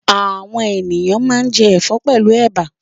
Àwọn ènìyàn máa ń jẹ ẹ̀fọ́ pẹ̀lú ẹ̀bà.